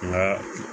Nka